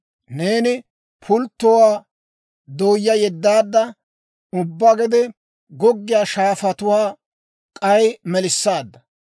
Neeni pulttotuwaa dooyaa yeddaadda; ubbaa gede goggiyaa shaafatuwaa k'ay melissaadda.